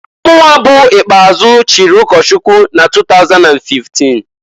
Mụnwa bụ ikpeazụ chiri ụkọchụkwụ na 2015.